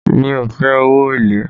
Mi ò fe owó èlé